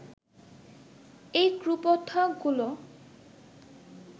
এই কুপ্রথাগুলো